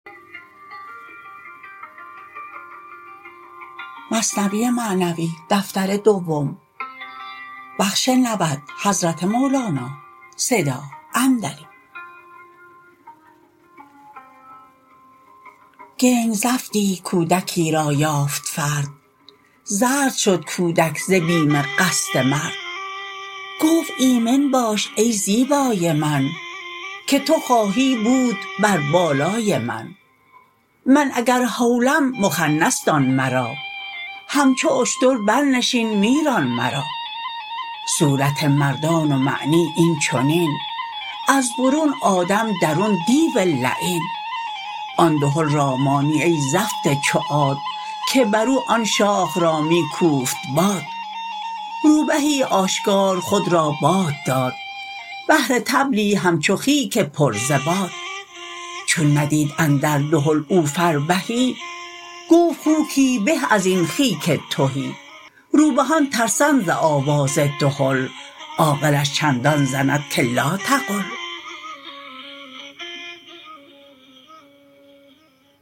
کنگ زفتی کودکی را یافت فرد زرد شد کودک ز بیم قصد مرد گفت ایمن باش ای زیبای من که تو خواهی بود بر بالای من من اگر هولم مخنث دان مرا همچو اشتر بر نشین می ران مرا صورت مردان و معنی این چنین از برون آدم درون دیو لعین آن دهل را مانی ای زفت چو عاد که برو آن شاخ را می کوفت باد روبهی اشکار خود را باد داد بهر طبلی همچو خیک پر ز باد چون ندید اندر دهل او فربهی گفت خوکی به ازین خیک تهی روبهان ترسند ز آواز دهل عاقلش چندان زند که لا تقل